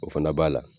O fana b'a la